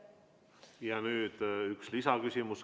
Ja nüüd üks lisaküsimus.